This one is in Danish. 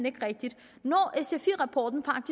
ikke rigtigt sfi rapporten